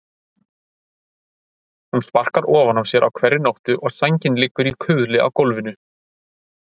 Hún sparkar ofan af sér á hverri nóttu og sængin liggur í kuðli á gólfinu.